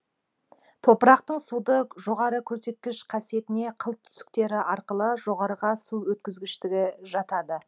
топырақтың суды жоғары көрсеткіш қасиетіне қылтүтіктері арқылы жоғарыға су өткізгіштігі жатады